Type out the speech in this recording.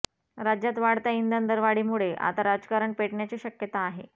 राज्यात वाढत्या इंधन दरवाढीमुळे आता राजकारण पेटण्याची शक्यता आहे